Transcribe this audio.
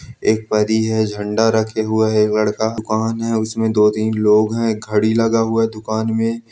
एक परी है झंडा रखे हुए हैं लड़का कौन है उसमें दो-तीन लोग हैं घड़ी लगा हुआ है दुकान में।